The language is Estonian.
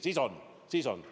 Siis on!